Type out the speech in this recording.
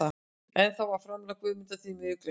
En þá var framlag Guðmundar því miður gleymt.